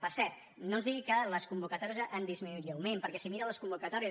per cert no ens digui que les convocatòries han dismi·nuït lleument perquè si mira les convocatòries